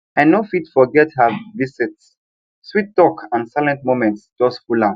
i no fit forget her visit sweet talk and silent moments just full am